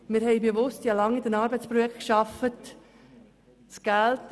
Ich habe lange in Arbeitsprojekten gearbeitet.